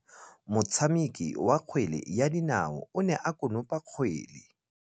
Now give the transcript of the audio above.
Motshameki wa kgwele ya dinaô o ne a konopa kgwele.